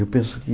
Eu penso que...